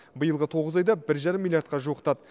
биылғы тоғыз айда бір жарым миллиардқа жуықтады